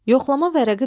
Yoxlama vərəqi bir.